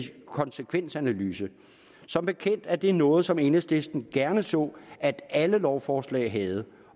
konsekvensanalyse som bekendt er det noget som enhedslisten gerne så at alle lovforslag havde